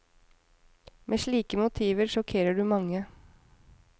Med slike motiver sjokkerer du mange.